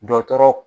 Dɔtɔrɔ